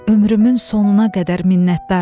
Ömrümün sonuna qədər minnətdaram.